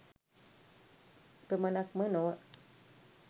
එපමනක්ම නොව